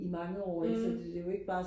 i mange år altså det er jo ikke bare